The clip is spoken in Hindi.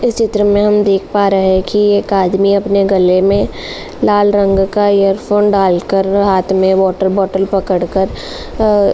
इस चित्र में हम देख पा रहे हैं कि एक आदमी अपने गले में लाल रंग का ईयरफ़ोन डाल कर हाथ में वाटर बॉटल पकड़कर अ --